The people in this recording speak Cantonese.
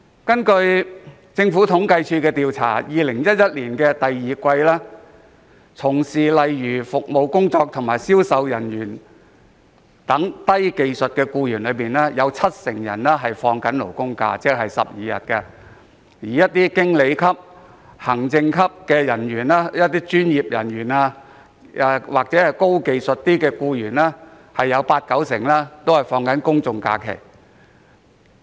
根據政府統計處的統計調查 ，2011 年第二季，在服務工作和銷售人員等低技術僱員當中，七成享有"勞工假"，即是12日，而在經理級、行政級人員、專業僱員或較高技術僱員當中，八九成享有公眾假期。